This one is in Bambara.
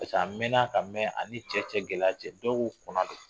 a mɛnna ka mɛn ani cɛ cɛ gɛlɛyara dɔw ko kɔna don